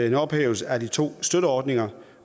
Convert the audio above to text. en ophævelse af de to støtteordninger